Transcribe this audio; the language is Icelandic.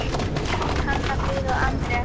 Þín Hanna Fríða og Anders.